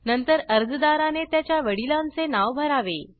नंतर अर्जादाराने त्याच्या वडिलांचे नाव भरावे